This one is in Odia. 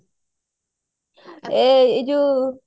ଏ ଯୋଉ